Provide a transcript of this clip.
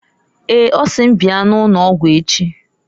Eeǃ Ọ sị m bia n' ụnọgwụ echi.